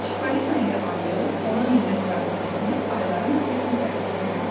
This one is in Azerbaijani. Çippolino ilə ayı ona minnətdarlıq eləyib ayların qəfəsinə tərəf yollandılar.